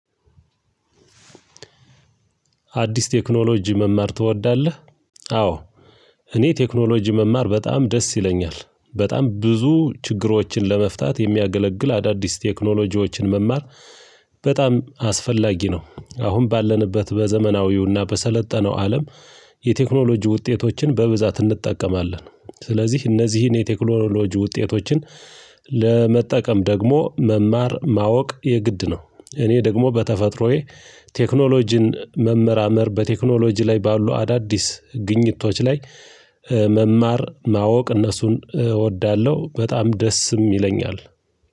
አዲስ ቴክኖሎጂ መማር ትወዳለህ? አዎ እኔ ቴክኖሎጂ መማር በጣም ደስ ይለኛል በጣም ብዙ ችግሮችን ለመፍታት የሚያገለግል አዳዲስ ቴክኖሎጂዎችን መማር። በጣም አስፈላጊ ነው አሁን ባለንበት በዘመናዊውና በሰለጠነው አለም። የቴክኖሎጂ ውጤቶችን በብዛት እንጠቀማለን ስለዚህ እነዚህን የቴክኖሎጂ ውጤቶችን ለመጠቀም ደግሞ መማር ማወቅ የግድ ነው። እኔ ደግሞ በተፈጥሮዬ ቴክኖሎጂን መመራመር በቴክኖሎጂ ላይ ባሉ አዳዲስ ግኝቶች ላይ መማር ማወቅ እነሱን እወዳለሁ በጣም ደስም ይለኛል።